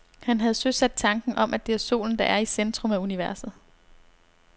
Han havde søsat tanken om, at det er solen, der er i centrum af universet.